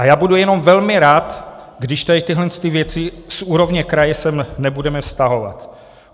A já budu jenom velmi rád, když tady tyhle věci z úrovně kraje sem nebudeme vztahovat.